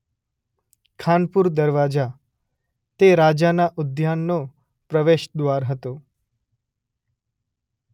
ખાનપુર દરવાજા - તે રાજાના ઉદ્યાનનો પ્રવેશદ્વાર હતો.